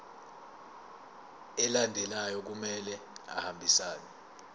alandelayo kumele ahambisane